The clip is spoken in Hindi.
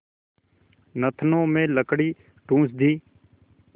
नथनों में लकड़ी ठूँस दी